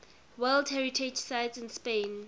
world heritage sites in spain